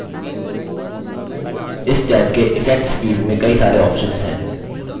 इस टैब के effects field में कई सारे options हैं